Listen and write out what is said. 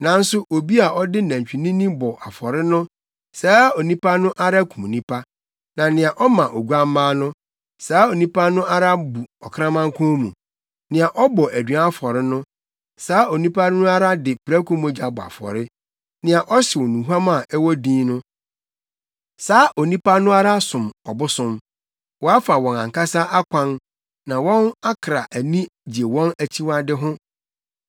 Nanso obi a ɔde nantwinini bɔ afɔre no saa onipa no ara kum nnipa, na nea ɔma oguamma no, saa onipa no ara bu ɔkraman kɔn mu; nea ɔbɔ aduan afɔre no saa onipa no ara de prako mogya bɔ afɔre, nea ɔhyew nnuhuam a ɛwɔ din no saa onipa no ara som ɔbosom. Wɔafa wɔn ankasa akwan na wɔn akra ani gye wɔn akyiwade ho;